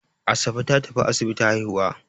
Asabe ta tafi asibiti haihuwa.